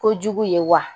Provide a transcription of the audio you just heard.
Kojugu ye wa